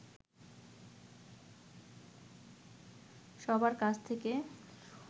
সবার কাছ থেকে